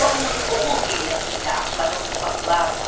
Yalnız oğul qeyrəti ilə açılacaq bu qapılar.